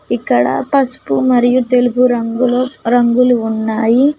ఇక్కడ పసుపు మరియు తెలుగు రంగులో రంగులు ఉన్నాయి.